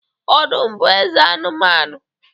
Ọdụm bu Eze anumanu